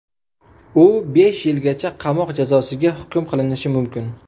U besh yilgacha qamoq jazosiga hukm qilinishi mumkin.